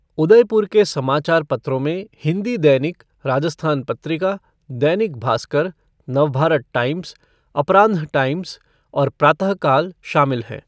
उदयपुर के समाचार पत्रों में हिंदी दैनिक राजस्थान पत्रिका, दैनिक भास्कर, नवभारत टाइम्स, अपरान्ह टाइम्स और प्रातःकाल शामिल हैं।